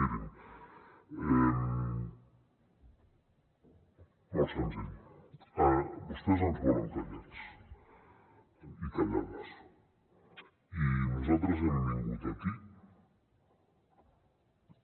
mirin molt senzill vostès ens volen callats i callades i nosaltres hem vingut aquí